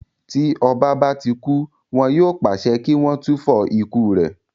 Tí ọba bá ti kú, wọn yóò pàṣẹ kí wọ́n túfọ̀ ikú rẹ̀